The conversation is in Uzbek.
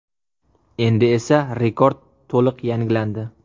Endi esa rekord to‘liq yangilandi.